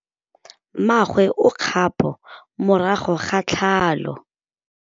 Mmagwe o kgapô morago ga tlhalô.